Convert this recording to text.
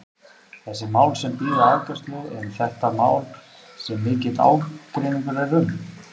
Þessi mál sem bíða afgreiðslu, eru þetta mál sem mikill ágreiningur er um?